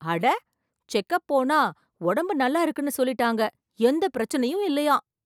அட! Check up போனா உடம்பு நல்லா இருக்குன்னு சொல்லிட்டாங்க எந்த பிரச்சினையும் இல்லையாம்.